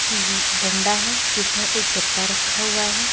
तिल डंडा है जिसमें एक गद्दा रखा हुआ है।